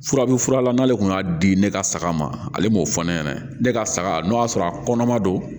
Furabu fura la n'ale kun y'a di ne ka saga ma ale m'o fɔ ne ɲɛna ne ka saga n'o y'a sɔrɔ a kɔnɔma don